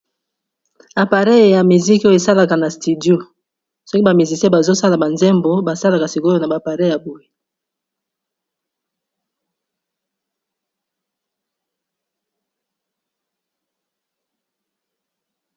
Appareil ya misiki oyo esalaka na studio, soki ba musiciens bazo sala ba nzembo ba salaka sikoyo na ba appareil ya boye.